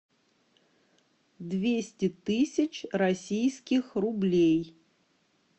двести тысяч российских рублей